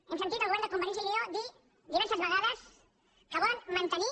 hem sentit al govern de convergència i unió dir diverses vegades que volen mantenir